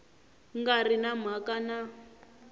nga ri na mhaka na